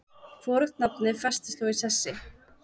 Hvorugt nafnið festist þó í sessi.